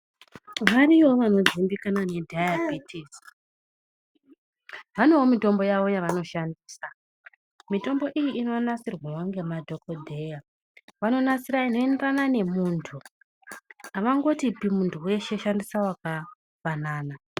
Variyovo vanodzimbikana nedhayabhitisi venevo mitombo yevo yavanoshandisa. Mitombo iyi inonasirwavo ngemadhogodheya vanonasira inoenderana nemuntu havangotipi muntu veshe shandisa vakafanana.